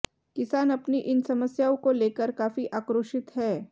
किसान अपनी इन समस्याओं को लेकर काफी आक्रोशित हैं